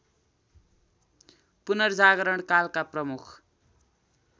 पुनर्जागरण कालका प्रमुख